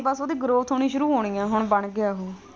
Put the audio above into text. ਬਸ ਉਹਦੀ growth ਹੋਣੀ ਸ਼ੁਰੂ ਹੋਣੀ ਐਂ ਹੁਣ ਬਣ ਗਿਆ ਹੈ ਉਹ।